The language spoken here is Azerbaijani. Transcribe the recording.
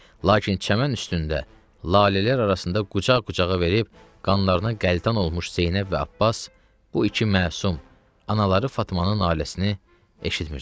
Lakin çəmən üstündə, lalələr arasında qucaq-qucağa verib qanlarına qəltan olmuş Zeynəb və Abbas bu iki məsum anaları Fatmanın naləsini eşitmirdilər.